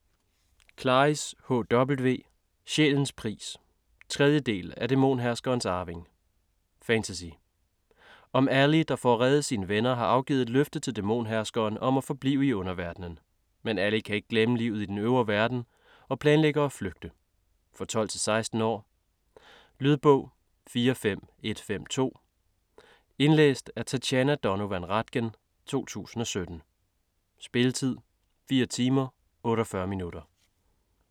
Klaris, H. W.: Sjælens pris 3. del af Dæmonherskerens arving. Fantasy. Om Ally der for at redde sine venner, har afgivet et løfte til dæmonherskeren om at forblive i Underverdenen. Men Ally kan ikke glemme livet i Den Øvre Verden, og planlægger at flygte. For 12-16 år. Lydbog 45152 Indlæst af Tatjana Donovan Ratgen, 2017. Spilletid: 4 timer, 48 minutter.